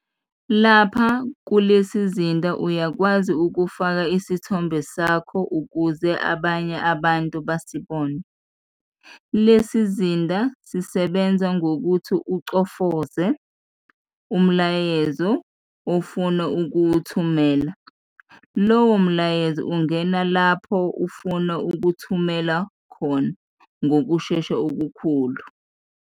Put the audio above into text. Lapha kulesizinda uyakwazi ukufaka isithombe sakho ukuze abanye abantu basibone. Lesizinda sisebenza ngokuthi uchofoze, umlayezo ofuna ukuwuthumela, lowo mlayezo ungena lapho ufuna ukuwuthumela khona ngokushesha okukhulu.